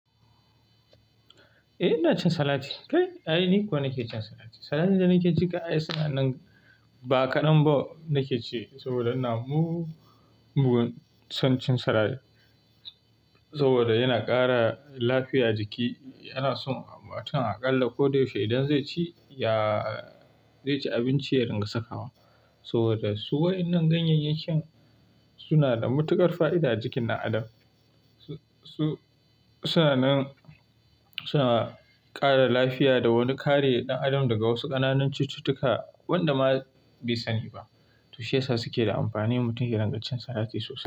Eh ina cin salat. Kai, ai ni kuwa nake cin salat. Salat ɗin da nake ci kai ai suna nan ba kaɗan ba nake ci saboda ina mugun son cin salat. Saboda yana ƙara lafiya jiki, ana son matum aƙalla ko da yaushe idan zai ci ya, zai ci abinci ya ringa saka wa. Saboda su wa'inan ganyeyyen yakin sunana da matuƙar fa'ida a jikin ɗan adam. Su suna nan suna ƙara lafiya da wani kare ɗan adam daga wasu ƙananan cututtuka waƴanda ma bai sani ba. To shiyasa suke da amfani mutum ya ringa cin salat sosai.